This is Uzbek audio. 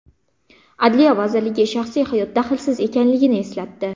Adliya vazirligi shaxsiy hayot daxlsiz ekanligini eslatdi.